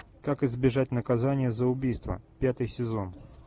как избежать наказания за убийство пятый сезон